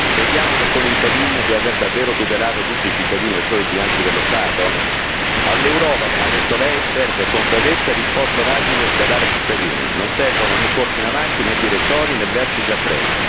Crediamo con il bail in di aver davvero tutelato tutti i cittadini, o solo il bilancio dello Stato? All'Europa, come ha detto lei, servono concretezza e risposte rapide da dare ai cittadini non servono né corse in avanti, né direttori, né vertici a tre.